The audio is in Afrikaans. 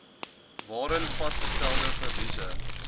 waarin vasgestelde verliese